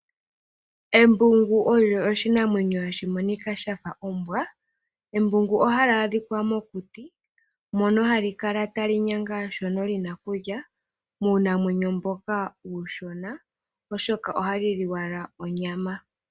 Embungu olyo oshinamwenyo hashi monika shafa ombwa, embungu oha li adhika mokuti moka hali kala ta li nyanga shoka lina okulya muunamwenyo mboka uushona oshoka oha li li owala onyama.